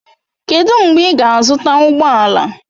Kedụ mgbe ị ga-azụta ụgbọ ala?